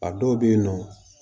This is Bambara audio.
A dɔw bɛ yen nɔ